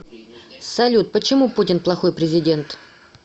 салют почему путин плохой президент